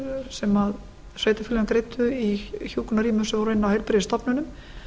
sem sveitarfélögin greiddu í hjúkrunarrýmum sem voru inni á heilbrigðisstofnunum